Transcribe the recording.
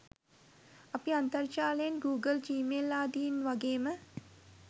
අපි අන්තර්ජාලයේ Google Gmail ආදියෙන් වගේම